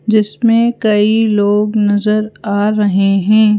जिसमें कई लोग नजर आ रहे हैं।